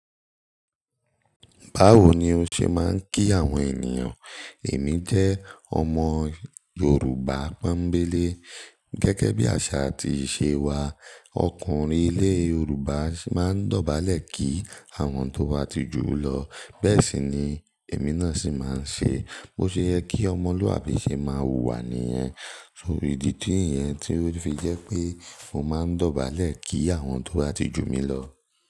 Báwo ni o ṣe máa ń kí àwọn ènìyàn? Èmi jẹ́ ọmọ Yorùbá pọ́nbélé. Gẹ́gẹ́ bí àṣà àti ìṣe wa, ọkùnrin ilé Yorùbá máa ń dọ̀bálẹ̀ kí àwọn tó bá ti jù lọ. Bẹ́ẹ̀ sì ni èmi náà sì máa ń ṣe. Bo ṣe yẹ kí ọmọlúàbí ṣe máa hùwà níyẹn. So ìdí ti yẹn tí ó fi jẹ́ pé mo máa ń dọ̀bálẹ̀ kí àwọn tó bá ti jù mí lọ.